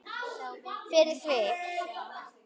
Fyrir þig.